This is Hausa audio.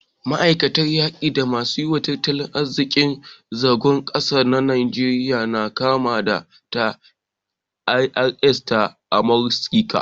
Ma'aikatan yaki da masu yi wa tattalin arziki zagon ƙasa ta Najeriya na kama da ta IRS ta Amurika